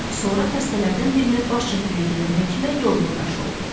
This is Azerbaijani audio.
Sonra xəstələrdən birinə baş çəkməyə gedən həkimə yol yoldaşı oldu.